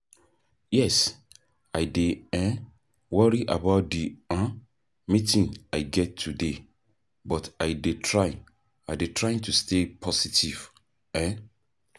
yes, i dey um worry about di um meeting i get today, but i dey try i dey try to stay positive. um